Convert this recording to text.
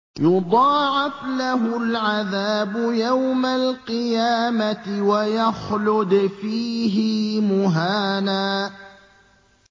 يُضَاعَفْ لَهُ الْعَذَابُ يَوْمَ الْقِيَامَةِ وَيَخْلُدْ فِيهِ مُهَانًا